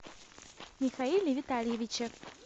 михаиле витальевиче